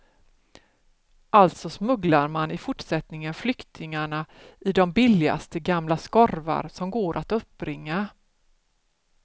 Alltså smugglar man i fortsättningen flyktingarna i de billigaste gamla skorvar som går att uppbringa.